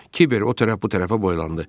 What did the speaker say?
Kiber o tərəf bu tərəfə boylandı.